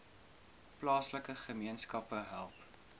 plaaslike gemeenskappe help